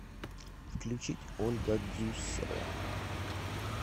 включить ольга дзусова